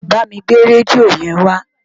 Bámi gbé rédíò yẹn wá